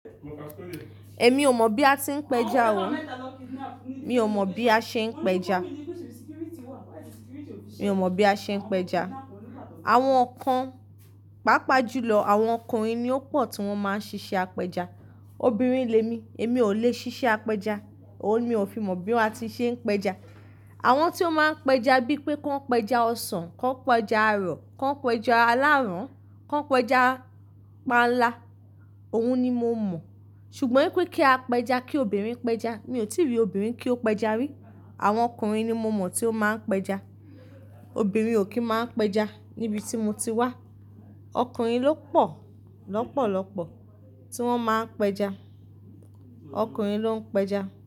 Ẹ mi ò mọ̀ bí a ti ń pẹja o. Mi ò mọ̀ bí a ṣe ń pẹja. Mi ò mọ̀ bí a ṣe ń pẹja. Àwọn kan, pàápàá jù lọ àwọn ọkùnrin ni ó pọ̀ tí wọ́n máa ń ṣiṣẹ́ apẹja. Obìnrin lé mi, èmi ò lè ṣiṣẹ́ apẹja. Òun ni mi ò fi mọ̀ bí wọ́n ti ṣe ń pẹja. Àwọn tí ó máa ń pẹja bíi pé ko ń pẹja ọsàn, kọ́ ń pẹja ẹrọ, kọ́ ń pẹja aláràn, kọ́ ń pẹja panla, òun ni mo mọ̀. Ṣùgbọ́n pé kí a pẹja, kí obìnrin pẹja, mi ò tí rí obìnrin kí ó pẹja rí. Àwọn ọkùnrin ni mo mọ̀ tí ó máa ń pẹja. Obìnrin ò kí máa ń pẹja níbi tí mo ti wá. Ọkùnrin ló pọ̀, lọ́pọ̀lọ́pọ̀ tí wọ́n máa ń pẹja. Ọkùnrin ló ń pẹja.